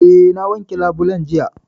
Eh, na wanke labulen jiya